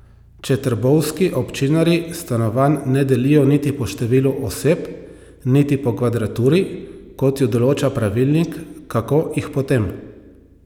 Če trbovski občinarji stanovanj ne delijo niti po številu oseb niti po kvadraturi, kot ju določa pravilnik, kako jih potem?